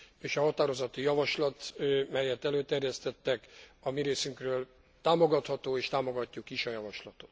És a határozati javaslat, melyet előterjesztettek, a mi részünkről támogatható, és támogatjuk is.